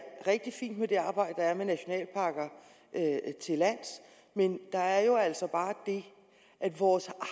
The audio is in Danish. rigtig fint med det arbejde der er med nationalparker til lands men der er jo altså bare det at vores